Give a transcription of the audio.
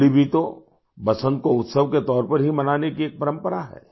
होली भी तो बसंत को उत्सव के तौर पर ही मनाने की एक परंपरा है